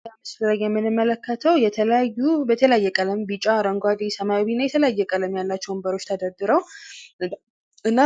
ይህ በምስሉ ላይ የምንመለከተው የተለያዩ በተለያየ ቀለም ቢጫ አረንጓዴ ሰማያዊ እና የተለየየ ቀለም ያላቸው ወንበሮች ተደርድረው እና